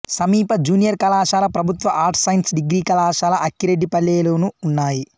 సమీప జూనియర్ కళాశాల ప్రభుత్వ ఆర్ట్స్ సైన్స్ డిగ్రీ కళాశాల అక్కిరెడ్డిపల్లె లోనూ ఉన్నాయి